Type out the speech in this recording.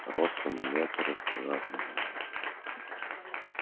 ростом в метр и с квадратной головой